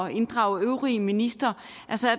inddrage øvrige ministre